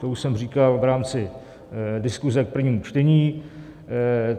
To už jsem říkal v rámci diskuze v prvním čtení.